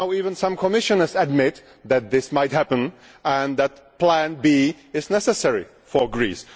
Now even some Commissioners admit that this might happen and that Plan B is necessary for Greece.